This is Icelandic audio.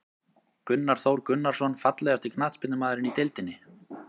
Gunnar Þór Gunnarsson Fallegasti knattspyrnumaðurinn í deildinni?